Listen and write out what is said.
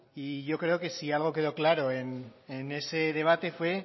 yo creo que si algo quedó claro en ese debate fue